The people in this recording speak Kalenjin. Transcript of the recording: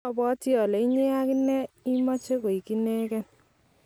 abwatii ale inyee ak inee imeche koek inekei.